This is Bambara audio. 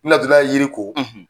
N natɔla ye yiri ko,